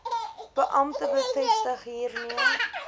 beampte bevestig hiermee